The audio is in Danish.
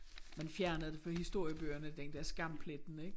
Man fjernede det fra historiebøgerne den der skampletten ik